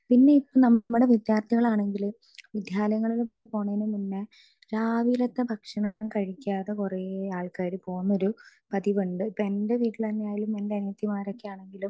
speaker 2 പിന്നെ നമ്മുടെ വിദ്യാർത്ഥികളാണെങ്കിലും വിദ്യാലയങ്ങളിൽ പോണതിന് മുന്നേ രാവിലത്തെ ഭക്ഷണം കഴിക്കാതെ കുറേ ആൾകാർ പോകുന്നൊരു പ്രതീകം ഉണ്ട് ഇപ്പൊ എന്റെ വീട്ടിൽ തന്നെ ആണേലും എന്റെ അനിയത്തിമാരൊക്കെ ആണെങ്കിലും